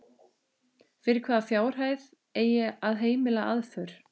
Fyrir hvaða fjárhæð eigi að heimila aðför?